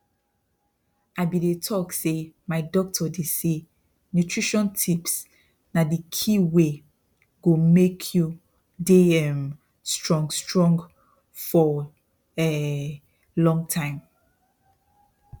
i be dey talk saymy doctor dey say nutrition tips na dey key wey go make you dey um strong strong for um long time